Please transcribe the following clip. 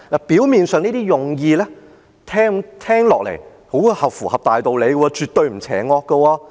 表面上，這些用意聽起來很符合大道理，絕對不邪惡。